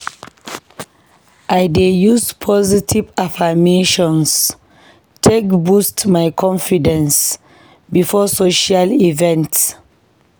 I dey use positive affirmations take boost my confidence before social events.